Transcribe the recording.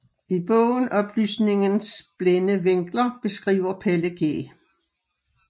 I bogen Oplysningens blinde vinkler beskriver Pelle G